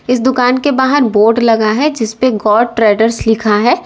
इस दुकान के बाहर बोर्ड लगा है जिस पे गौर ट्रेडर्स लिखा है।